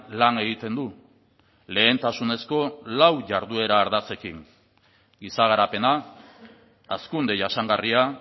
lan egiten du lehentasunezko lau jarduera ardatzekin giza garapena hazkunde jasangarria